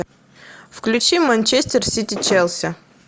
включи манчестер сити челси